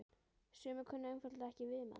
Sumir kunna einfaldlega ekki við mann.